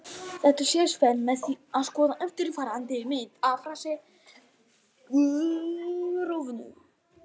Þetta sést vel með því að skoða eftirfarandi mynd af rafsegulrófinu: